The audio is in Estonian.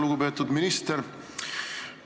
Lugupeetud minister!